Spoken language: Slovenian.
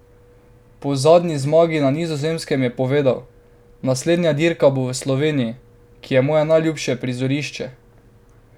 Po zadnji zmagi na Nizozemskem je povedal: "Naslednja dirka bo v Sloveniji, ki je moje najljubše prizorišče.